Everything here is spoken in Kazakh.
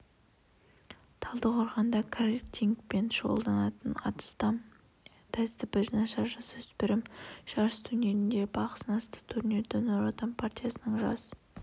талдықорғанда картингпен шұғылданатын астам тәртібі нашар жасөспірім жарыс турнирінде бақ сынасты турнирді нұр отан партиясының жас